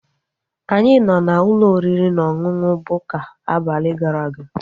Anyị nọ n'ụlọ oriri na ọṅụṅụ Bukka abalị gara aga